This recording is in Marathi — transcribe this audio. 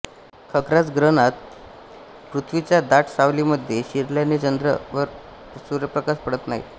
खग्रास ग्रहणात पृथ्वीच्या दाट सावलीमध्ये शिरल्याने चंद्रावर सूर्यप्रकाश पडत नाही